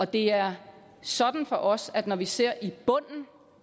det er sådan for os at når vi ser i bunden